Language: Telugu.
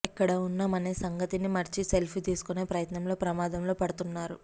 ఎక్కడ ఉన్నాం అనే సంగతిని మరిచి సెల్ఫీ తీసుకునే ప్రయత్నంలో ప్రమాదంలో పడుతున్నారు